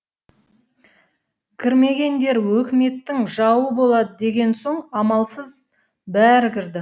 кірмегендер өкіметтің жауы болады деген соң амалсыз бәрі кірді